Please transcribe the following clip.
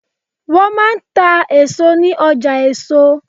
Wọ́n máa ń ta èso ní ọjà èso.